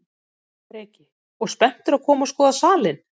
Breki: Og spenntur að koma og skoða salinn?